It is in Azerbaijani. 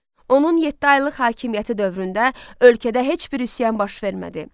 Onun yeddi aylıq hakimiyyəti dövründə ölkədə heç bir üsyan baş vermədi.